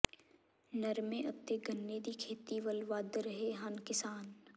ਨਰਮੇ ਅਤੇ ਗੰਨੇ ਦੀ ਖੇਤੀ ਵੱਲ ਵਧ ਰਹੇ ਹਨ ਕਿਸਾਨ